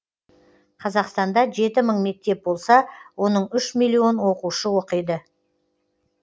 қазақстанда жеті мың мектеп болса оның үш миллион оқушы оқиды